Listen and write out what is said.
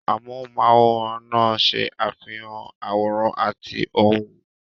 Amóhùnm'áwòrán náà ṣe àfihàn àwòrán àti ohùn